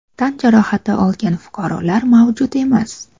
Tan jarohati olgan fuqarolar mavjud emas.